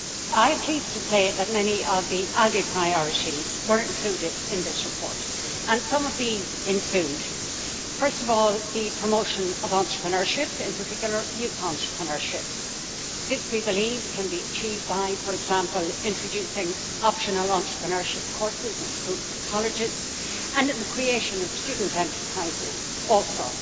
I am pleased to say that many of the ALDE Group priorities were included in this report and these include, first of all, the promotion of entrepreneurship, in particular youth entrepreneurship. This we believe can be achieved by, for example, introducing optional entrepreneurship courses at schools and colleges, and in the creation of student enterprises also.